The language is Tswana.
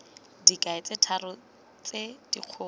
dikai tse tharo tse dikgolo